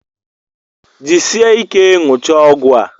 Jisie ike ṅụchaa ọgwụ a!